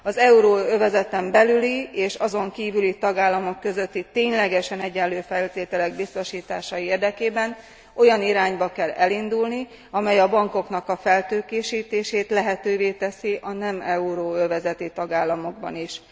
Az euróövezeten belüli és azon kívüli tagállamok közötti ténylegesen egyenlő feltételek biztosítása érdekében olyan irányba kell elindulni, amely a bankoknak a feltőkésítését lehetővé teszi a nem euróövezeti tagállamokban is.